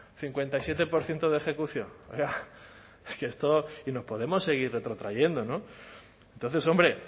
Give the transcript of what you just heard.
cincuenta y siete por ciento de ejecución es que esto y nos podemos seguir retrotrayendo entonces hombre